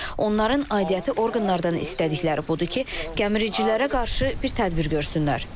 Onların aidiyyəti orqanlardan istədikləri budur ki, gəmiricilərə qarşı bir tədbir görsünlər.